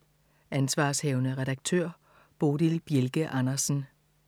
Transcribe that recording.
Ansv. redaktør: Bodil Bjelke Andersen